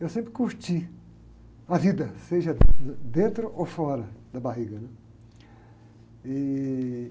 Eu sempre curti, a vida, seja dentro ou fora da barriga, né?